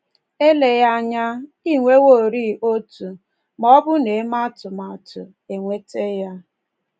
um Eleghị anya, i nweworị otu, ma um ọ bụ na-eme atụmatụ um inweta ya.